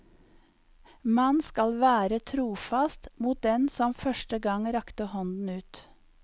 Man skal vær e trofast mot den som første gang rakte hånden ut.